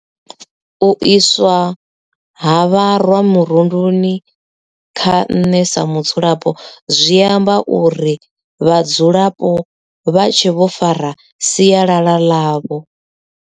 U iswa ha vharwa murunduni kha nṋe sa mudzulapo zwi amba uri vhadzulapo vha tshe vho fara sialala ḽavho.